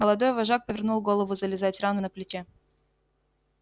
молодой вожак повернул голову зализать рану на плече